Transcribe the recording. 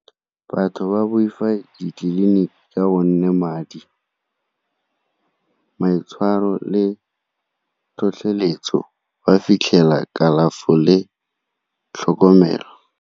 Batho ba boifa ditleliniki ka gonne madi, maitshwaro le tlhotlheletso ba fitlhela kalafo le tlhokomelo.